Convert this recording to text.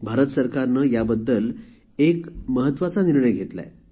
भारत सरकारने याबद्दल एक महत्वाचा निर्णय घेतला आहे